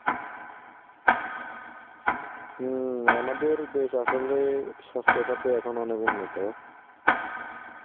হম আমাদের দেশ আসলে স্বাস্থ্য খাতে এখন অনেক উন্নত.